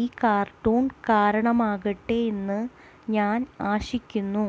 ഈ കാർട്ടൂൺ കാരണമാകട്ടെ എന്ന് ഞാൻ ആശിക്കുന്നു